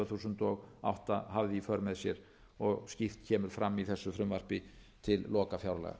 þúsund og átta hafði í för með sér og skýrt kemur fram í þessu frumvarpi til lokafjárlaga